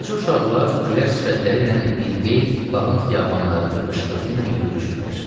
Balaca uşaqlar gülər sifətləriylə biqeyd bağın xiyabanlarında qışqırtıyla yürüşürlər.